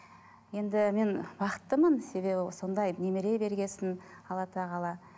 енді мен бақыттымын себебі сондай немере берген соң алла тағала